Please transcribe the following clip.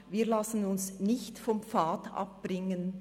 Wir lassen uns nicht vom Pfad abbringen.